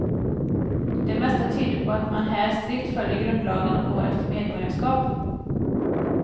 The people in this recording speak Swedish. Det mesta tyder på att man här strikt följer grundlagen och går efter medborgarskap.